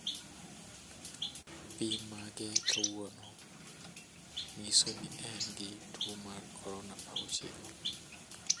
pim mage kawuono ng'iso ni en gi tuwo mar korona 19.